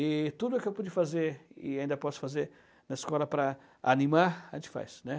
E tudo que eu pude fazer e ainda posso fazer na escola para animar, a gente faz, né?